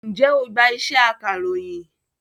Ǹjẹ́ o gbá iṣẹ́ akàròyìn?